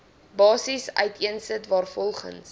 basis uiteensit waarvolgens